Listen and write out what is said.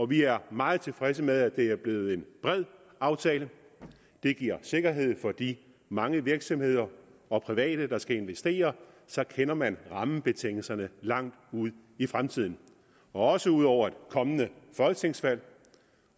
vi er meget tilfredse med at det er blevet en bred aftale det giver sikkerhed for de mange virksomheder og private der skal investere så kender man rammebetingelserne langt ud i fremtiden også ud over et kommende folketingsvalg